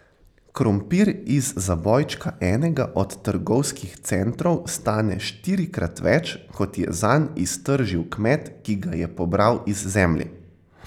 Krompir iz zabojčka enega od trgovskih centrov stane štirikrat več, kot je zanj iztržil kmet, ki ga je pobral iz zemlje.